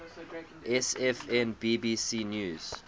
sfn bbc news